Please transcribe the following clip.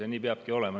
Ja nii peabki olema.